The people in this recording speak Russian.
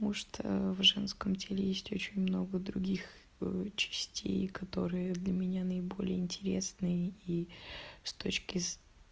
может в женском теле есть очень много других частей которые для меня наиболее интересные и с точки с